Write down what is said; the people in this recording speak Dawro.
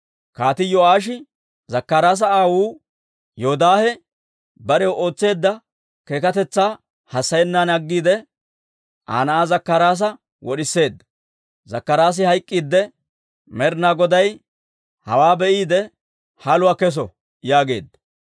Kaatii Yo'aashi Zakkaraasa aawuu Yoodaahe barew ootseedda keekatetsaa hassayennan aggiide, Aa na'aa Zakkaraasa wod'iseedda. Zakkaraasi hayk'k'iidde, «Med'inaa Goday hawaa be'iide, haluwaa kesso» yaageedda.